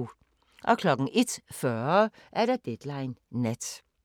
01:40: Deadline Nat